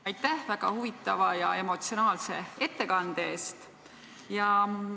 Aitäh väga huvitava ja emotsionaalse ettekande eest!